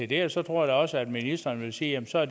det og så tror jeg også at ministeren vil sige at så er